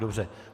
Dobře.